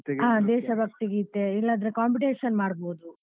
ಹಾ ದೇಶಭಕ್ತಿ ಗೀತೆ ಇಲ್ಲಾದ್ರೆ competition ಮಾಡ್ಬೋದು.